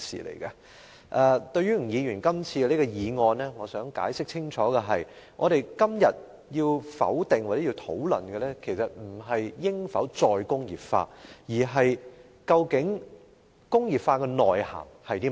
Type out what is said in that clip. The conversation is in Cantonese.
關於吳議員今次這項議案，我想解釋清楚的是，我們今天要否決或討論的不是應否實現"再工業化"，而是工業化的內涵是甚麼？